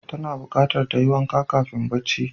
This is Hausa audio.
Tana buqatar tayi wanka kafin tayi bacci